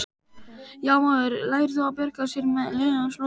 Já, maður lærði að bjarga sér með lygum Lúsífers.